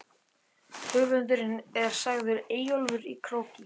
Höfundur er sagður Eyjólfur í Króki.